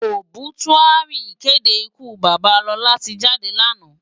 Óbisúári ìkédé ìkú baba Lola ti jádé láná.